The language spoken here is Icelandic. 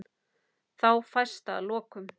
Þá fæst að lokum